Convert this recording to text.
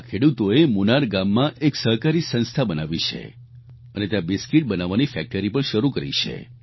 આ ખેડૂતોએ મુનાર ગામમાં એક સહકારી સંસ્થા બનાવી છે અને ત્યાં બિસ્કિટ બનાવવાની ફેક્ટરી પણ શરૂ કરી છે